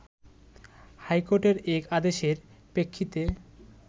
হাইকোর্টের এক আদেশের প্রেক্ষিতে